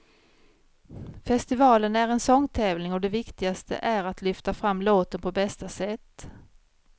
Festivalen är en sångtävling och det viktigaste är att lyfta fram låten på bästa sätt.